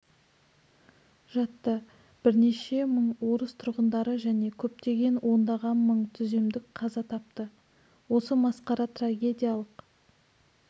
жатты бірнеше мың орыс тұрғындары және көптеген ондаған мың түземдік қаза тапты осы масқара трагедиялық